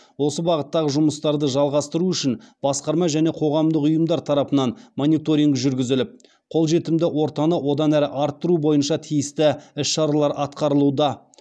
осы бағыттағы жұмыстарды жалғастыру үшін басқарма және қоғамдық ұйымдар тарапынан мониторинг жүргізіліп қолжетімді ортаны одан ары арттыру бойынша тиісті іс шаралар атқарылуда